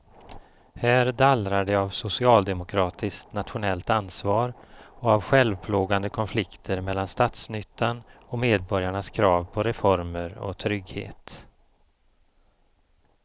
Här dallrar det av socialdemokratiskt nationellt ansvar och av självplågande konflikter mellan statsnyttan och medborgarnas krav på reformer och trygghet.